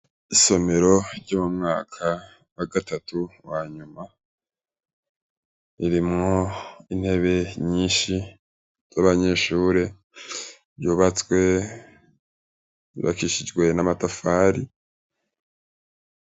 Isomero ryo mumwaka wagatatu wanyuma ririmwo intebe nyinshi z' abanyeshure ryubatswe ryubakishijwe n ' amatafari.